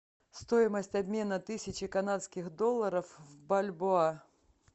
стоимость обмена тысячи канадских долларов в бальбоа